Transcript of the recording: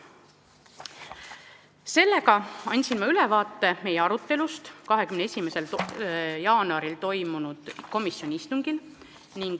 Selline oli ülevaade meie arutelust 21. jaanuaril toimunud komisjoni istungil.